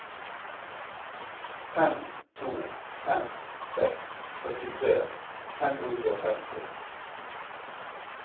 fem to fem seks førtitre fem hundre og femti